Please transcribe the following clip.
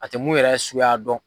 A te mun yɛrɛ suguya dɔn